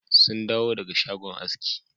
Sun dawo daga shagon aski.